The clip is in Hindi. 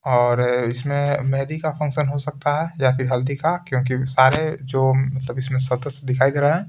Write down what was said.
और इसमें मेहदी का फंक्शन हो सकता है या फिर हल्दी का क्योंकि सारे जो सब इसमें सदस्य दिखाई दे रहे हैं।